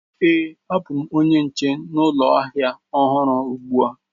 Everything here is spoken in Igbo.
Ee, abụ m onye nche ụlọ ahịa ọhụrụ ugbu a.